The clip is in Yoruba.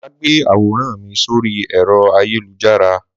Má gbé àwòrán mi sórí ẹ̀rọ ayélujára!